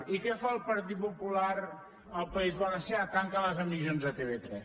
i què fa el partit popular al país valencià tanca les emissions de tv3